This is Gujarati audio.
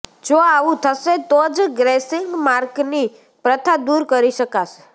જો આવું થશે તો જ ગ્રેસિંગ માર્કની પ્રથા દૂર કરી શકાશે